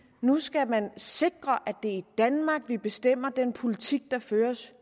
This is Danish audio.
nu skal man sikre at det er i danmark at vi bestemmer den politik der føres